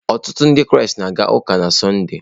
Ọtụtụ Ndị Kraịst na-aga ụka na Sọnde.